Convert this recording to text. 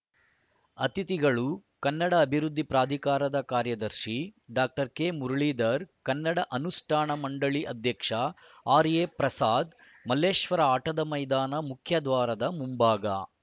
ಅತಿಥಿಗಳು ಕನ್ನಡ ಅಭಿವೃದ್ಧಿ ಪ್ರಾಧಿಕಾರದ ಕಾರ್ಯದರ್ಶಿ ಡಾಕ್ಟರ್ ಕೆಮುರಳಿಧರ್‌ ಕನ್ನಡ ಅನುಷ್ಠಾನ ಮಂಡಳಿ ಅಧ್ಯಕ್ಷ ಆರ್‌ಎಪ್ರಸಾದ್‌ ಮಲ್ಲೇಶ್ವರ ಆಟದ ಮೈದಾನ ಮುಖ್ಯದ್ವಾರದ ಮುಂಭಾಗ